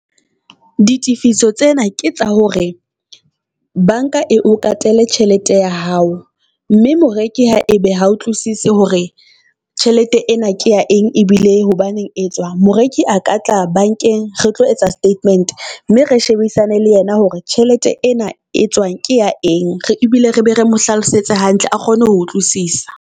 Ditefiso tsena ke tsa hore bank-a e o katele tjhelete ya hao, mme moreki ha ebe ha utlwisise hore tjhelete ena ke ya eng, ebile hobaneng e tswa. Moreki a ka tla bank-eng re tlo etsa statement mme re shebisane le yena hore tjhelete ena e tswang ke ya eng. E bile re be re mo hlalosetse hantle a kgone ho utlwisisa.